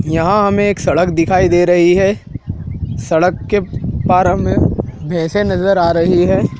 यहां हमें एक सड़क दिखाई दे रही है। सड़क के पार हमें भैसे नज़र आ रही है।